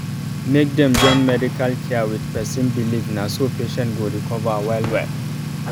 make dem join medical care with person believe na so patient go recover well well